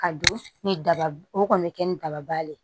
Ka don ni daba o kɔni bɛ kɛ ni daba le ye